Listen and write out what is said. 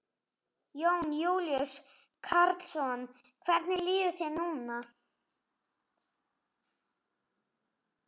Jón Júlíus Karlsson: Hvernig líður þér núna?